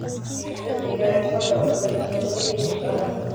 pizza digag maa dalbate mise mid hilib ahh